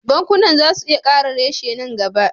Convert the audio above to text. Bankuna za su iya kara reshe nan gaba